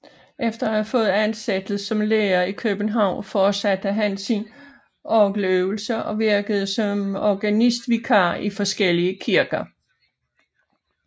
Efter at have fået ansættelse som lærer i København fortsatte han sine orgeløvelser og virkede som organistvikar i forskellige kirker